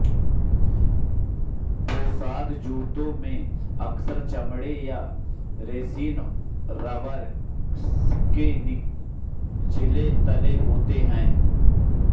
पोशाक जूतों में अक्सर चमड़े या रेसिन रबर के निचले तले होते हैं